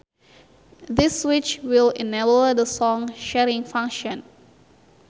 This switch will enable the song sharing function